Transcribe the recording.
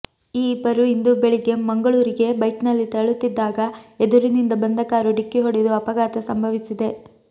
ಈ ಇಬ್ಬರು ಇಂದು ಬೆಳಿಗ್ಗೆ ಮಂಗಳೂ ರಿಗೆ ಬೈಕ್ನಲ್ಲಿ ತೆರಳುತ್ತಿದ್ದಾಗ ಎದುರಿನಿಂದ ಬಂದ ಕಾರು ಢಿಕ್ಕಿ ಹೊಡೆದು ಅಪಘಾತ ಸಂಭವಿಸಿದೆ